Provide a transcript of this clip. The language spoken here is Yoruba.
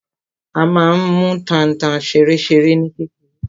A má n mú tanta ṣeréṣeré ní kékeré.